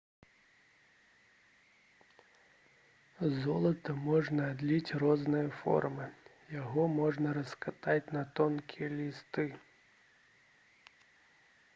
з золата можна адліць розныя формы яго можна раскатаць на тонкія лісты